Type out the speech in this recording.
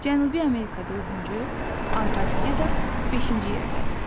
Cənubi Amerika dördüncü, Antarktida beşinci yerdədir.